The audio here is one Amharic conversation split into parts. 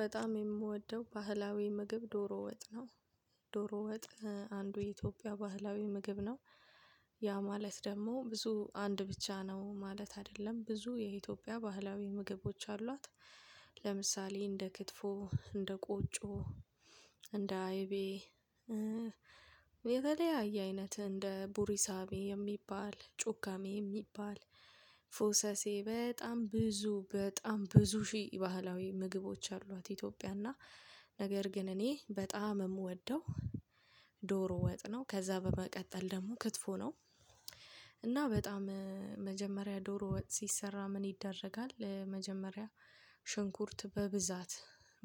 በጣም የምወደው ባህላዊ ምግብ ዶሮ ወጥ ነው። ዶሮ ወጥ አንዱ የኢትዮጵያ ባህላዊ ምግብ ነው። ማለት ደግሞ ብዙ አንድ ብቻ ነው ማለት አይደለም ብዙ የኢትዮጵያ ባህላዊ ምግቦች አሏት። ለምሳሌ እንደ ክትፎ እንደ ቁጮ እንደ አይቤ የተለያየ አይነት እንደ ቡሪሳቤ የሚባል ጩካሜ የሚባል ፎሰሴ በጣም ብዙ በጣም ብዙ ሺ ባህላዊ ምግቦች አሏት። ኢትዮጵያ እና ነገር ግን እኔ በጣም ምወደው ዶሮ ወጥነው ከዛ በመቀጠል ደግሞ ክትፎ ነው። እና በጣም መጀመሪያ ዶሮ ወጥ ሲሰራ ምን ይደረጋል መጀመሪያ? ሽንኩርት በብዛት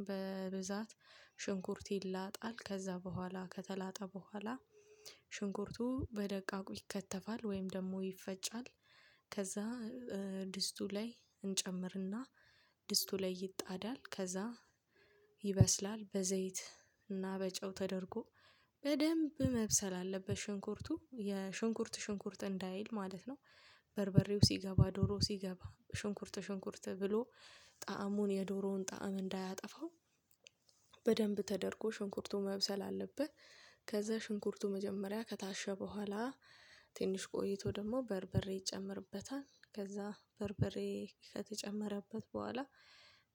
በብዛት ሽንኩርት ይላጣል ከዛ በኋላ ከተላጣ በኋላ ሽንኩርቱ በደቃቁ ይከተፋል ወይም ደግሞ ይፈጫል። ከዛ ድስቱ ላይ እንጨምርና ድስቱ ላይ ይጣዳል ከዛ ይበስላል በዘይት እና በጨው ተደርጎ። በደንብ መብሰል አለበት ሽንኩርቱ የሽንኩርት ሽንኩርት እንዳይል ማለት ነው። በርበሬው ሲገባ ዶሮ ሲገባ ሽንኩርት ሽንኩርት ብሎ ጣዕሙን የዶሮውን ጣዕም እንዳያጠፋው በደንብ ተደርጎ ሽንኩርቱ መብሰል አለበት። ከዛ ሽንኩርቱ መጀመሪያ ከታሸ በኋላ ትንሽ ቆይቶ ደግሞ በርበሬ ይጨመርበታል ከዛ በርበሬ ከተጨመረበት በኋላ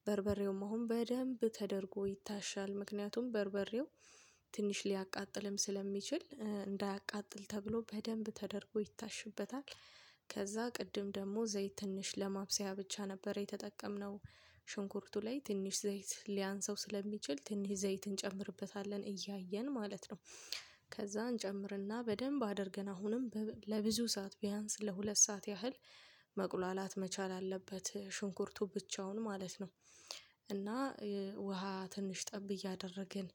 በርበሬውም አሁን በደንብ ተደርጎ ይታሻል ምክንያቱም በርበሬው ትንሽ ሊያቃጥልም ስለሚችል እንዳያቃጥል ተብሎ በደንብ ተደርጎ ይታሽበታል። ከዛ ቅድም ደግሞ ዘይት ትንሽ ለማብሰያ ብቻ ነበር የተጠቀምነው። ሽንኩርቱ ላይ ትንሽ ዘይት ሊያንሰው ስለሚችል ትንሽ ዘይት እንጨምርበታለን እያየን ማለት ነው። ከዛ እንጨምርና በደንብ አድርገን አሁንም ለብዙ ሰዓት ቢያንስ ለሁለት ሰዓት ያህል መቁላላት መቻል አለበት ሽንኩርቱ ብቻውን ማለት ነው። እና ውሃ ትንሽ ጠብ እያደረግን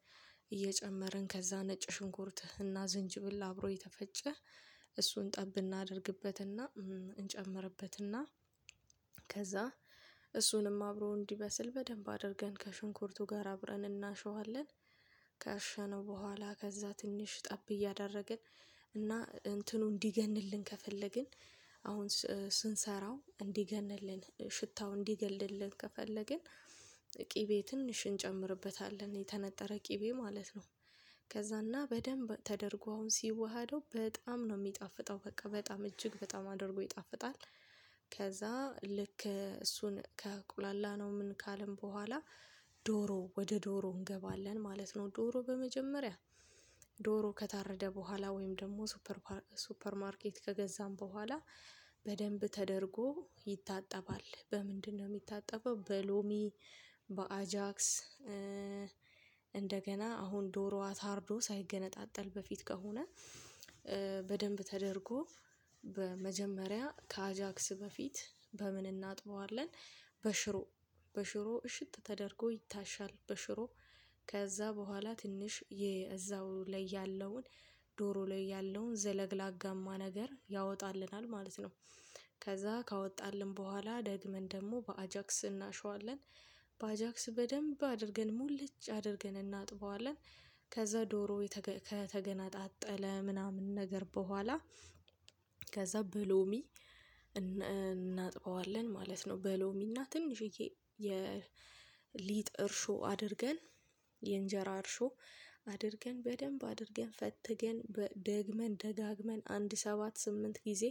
እየጨመርን ከዛ ነጭ ሽንኩርት እና ዝንጅብል አብሮ የተፈጨ እሱን ጠብ እናደርግበትና እንጨምርበትና ከዛ እሱንም አብሮ እንዲመስል በደንብ አድርገን ከሽንኩርቱ ጋር አብረን እናሸዋለን። ከሸነው በኋላ ከዛ ትንሽ ጠብ እያደረግን እና እንትኑ እንዲገንልን ከፈለግን። አሁን ስንሰራ እንዲገንልን ሽታው እንዲገልልን ከፈለግን። ቅቤ ትንሽ እንጨምርበታለን የተነጠረ ቅቤ ማለት ነው። ከዛና በደንብ ተደርጎ አሁን ሲዋሃደው በጣም ነው ሚጣፍጠው በቃ በጣም እጅግ በጣም አድርጎ ይጣፍጣል። ከዛ ልክ እሱን ካቁላላነው ምን ካልን በኋላ ዶሮ ወደ ዶሮ እንገባለን ማለት ነው። ዶሮ በመጀመሪያ ዶሮ ከታረደ በኋላ ወይም ደግሞ ሱፐር ሱፐር ማርኬት ከገዛን በኋላ በደንብ ተደርጎ ይታጠባል በምንድነው ሚታጠበው በሎሚ? በአጃክስ? እንደገና አሁን ዶሮዋ ታርዶ ሳይገነጣጠል በፊት ከሆነ በደንብ ተደርጎ በመጀመሪያ ከአጃክስ በፊት በምን እናጥበዋለን? በሽሮ በሽሮ እሽት ተደርጎ ይታሻል በሽሮ ከዛ በኋላ ትንሽ የዛው ላይ ያለውን ዶሮ ላይ ያለውን ዘለግላጋማ ነገር ያወጣልናል ማለት ነው። ከዛ ካወጣልን በኋላ ደግመን ደግሞ በአጃክስ እናሸዋለን። በአጃክስ በደንብ አድርገን ሙልጭ አድርገን እናጥበዋለን። ከዛ ዶሮ ከተገናጣጠለ ምናምን ነገር በኋላ ከዛ በሎሚ እናጥበዋለን ማለት ነው። በሎሚና ትንሽዬ የሊጥ እርሾ አድርገን የእንጀራ እርሾ አድርገን በደንብ አድርገን ፈትገን ደግመን ደጋግመን አንድ ሰባት ስምንት ጊዜ።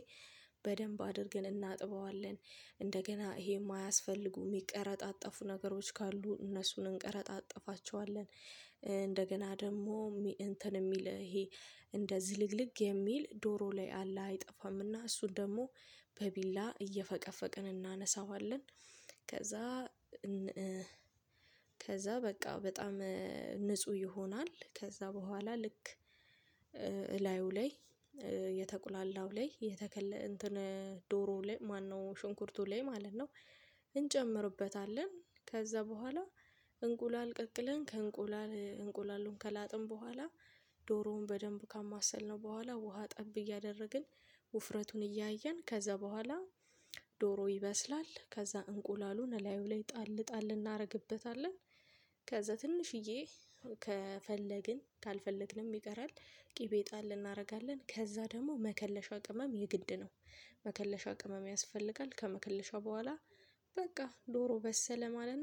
በደንብ አድርገን እናጥበዋለን እንደገና ይሄ ማያስፈልጉ የሚቀረጣጠፉ ነገሮች ካሉ እነሱን እንቀረጣ ጥፋቸዋለን እንደገና ደግሞ እንትን የሚል ይሄ እንደዚህ ልግልግ የሚል ዶሮ ላይ አላህ አይጠፋምና እሱን ደግሞ በቢላ እየፈቀፈቅን እናነሳዋለን። ከዛ ከዛ በቃ በጣም ንጹህ ይሆናል። ከዛ በኋላ ልክ እላዩ ላይ የተቁላላው ላይ የተከለ እንትን ዶሮ ላይ ማነው ሽንኩርቱ ላይ ማለት ነው። ከዛ በኋላ እንቁላል ቀቅለን ከእንቁላል እንቁላሉን ከላጥን በኋላ ዶሮውን በደንብ ካማሰልነው በኋላ ውሃ ጠብ እያደረግን ውፍረቱን እያየን ከዛ በኋላ ዶሮ ይበስላል ከዛ እንቁላሉ እላዩ ላይ ጣል ጣል እናረግበታለን። ከዛ ትንሽዬ ከፈለግን ካልፈለግንም ይቀራል። ቅቤ ጣል እናረጋለን ከዛ ደግሞ መከለሻ ቅመም የግድ ነው። መከለሻው ቅመም ያስፈልጋል ከመከለሻው በኋላ በቃ ዶሮ በሰለ ማለት ነው